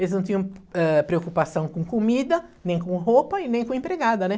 Eles não tinham eh, preocupação com comida, nem com roupa e nem com empregada, né?